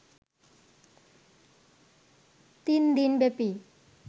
তিন দিনব্যাপী